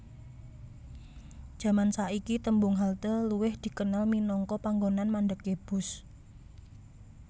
Jaman saiki tembung halte luwih dikenal minangka panggonan mandhegé bus